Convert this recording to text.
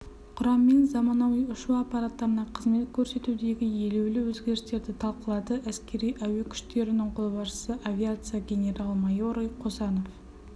құраммен заманауи ұшу аппараттарына қызмет көрсетудегі елеулі өзгерістерді талқылады әскери-әуе күштерінің қолбасшысы авиация генерал-майоры қосанов